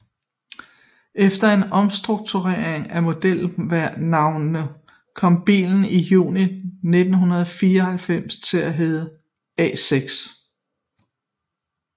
Efter en omstrukturering af modelnavnene kom bilen i juni 1994 til at hedde A6